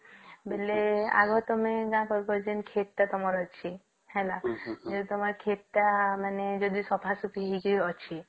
ବେଲେ ଆଗତମେ କରିସନ କ୍ଷେତ ଟା ତମର ଅଛି ହେଲା ହେଲେ ତମର କ୍ଷେତ ଟା ମାନେ ଯଦି ସଫା ସାଫି ହେଇକି ଅଛି